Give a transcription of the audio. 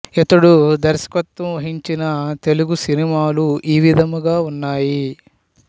ఇతడు దర్శకత్వం వహించిన తెలుగు సినిమాలు ఈ విధంగా ఉన్నాయి